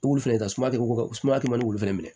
Ulu fɛnɛ ta suma kɛ ko sumaya kɛman fɛnɛ minɛ